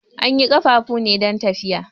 An yi ƙafafu ne don tafiya.